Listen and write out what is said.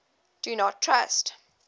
do not trust